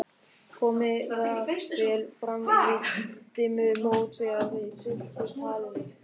Komið var vel fram yfir dimmumót þegar þeir slitu talinu.